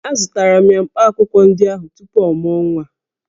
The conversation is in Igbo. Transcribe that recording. Azụtara m ya mkpaakwụkwọ ndị ahụ tupu ọ mụọ nwa